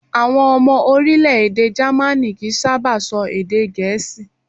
Àwọn ọmọ orílẹ̀-èdè Jamaní kìí sábà sọ èdè Gẹ̀ẹ́sì